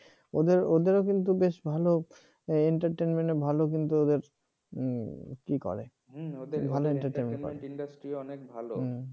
ওদের ওদেরও কিন্তু বেশ ভালো। entertainment ভালো কিন্তু ওদের কি করে ভালো entertainment করে ওদের industry অনেক ভালো।